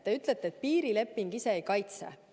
Te ütlete, et piirileping ise ei kaitse.